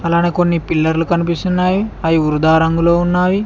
అలానే కొన్ని పిల్లర్లు కనిపిస్తున్నాయి అవి వృధా రంగులో ఉన్నాయి.